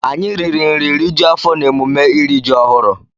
Anyị riri nri rijuo afọ n'emume iri ji ọhụrụ.